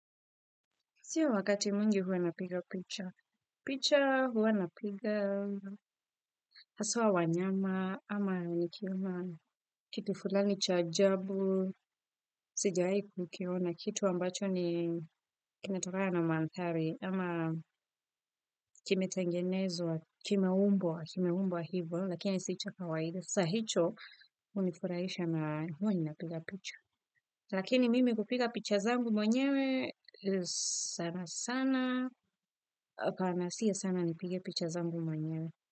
Siyo wakati mwingi huwa napiga picha. Picha huwa napiga haswa wanyama ama nikiwa na kitu fulani cha ajabu. Sijawai kukiona kitu ambacho ni kinatokana na mandhari ama kimetengenezwa kimeumbwa kimeumbwa hivo lakini si cha kawaida. Sa hicho hunifurahisha na huwa inapiga picha. Lakini mimi hupiga picha zangu mwenyewe sana sana. Kana sio sana nipige picha zangu mwenyewe.